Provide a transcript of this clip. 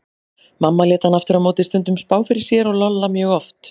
Mamma lét hana aftur á móti stundum spá fyrir sér og Lolla mjög oft.